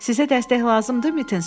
Sizə dəstək lazımdır?